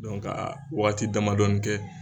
waati damadɔnin tɛ